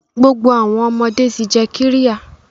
Gbogbo awọn ọmọde ti jẹ qirya